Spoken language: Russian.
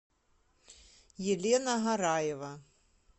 елена гораева